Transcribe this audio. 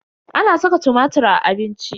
Ana saka tumatir a abinci.